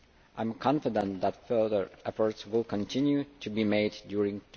I am confident that further efforts will continue to be made during